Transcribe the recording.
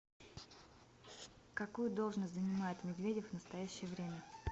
какую должность занимает медведев в настоящее время